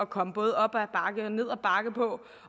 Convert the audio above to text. komme både op ad bakke og ned ad bakke på